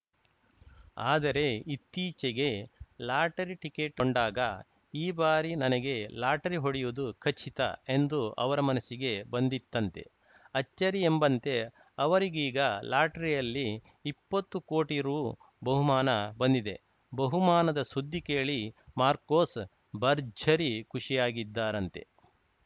ಆದರೆ ಇತ್ತೀಚೆಗೆ lottery ticket ಕೊಂಡಾಗ ಈ ಬಾರಿ ನನಗೆ ಲಾಟರಿ ಹೊಡೆಯುವುದು ಖಚಿತ ಎಂದು ಅವರ ಮನಸ್ಸಿಗೆ ಬಂದಿತ್ತಂತೆ ಅಚ್ಚರಿ ಎಂಬಂತೆ ಅವರಿಗೀಗ ಲಾಟರಿಯಲ್ಲಿ ಇಪ್ಪತ್ತು ಕೋಟಿ ರು ಬಹುಮಾನ ಬಂದಿದೆ ಬಹುಮಾನದ ಸುದ್ದಿ ಕೇಳಿ ಮಾರ್ಕೋಸ್‌ ಭರ್ಜರಿ ಖುಷಿಯಾಗಿದ್ದಾರಂತೆ